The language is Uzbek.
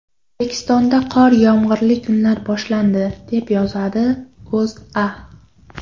O‘zbekistonda qor-yomg‘irli kunlar boshlandi, deb yozadi O‘zA.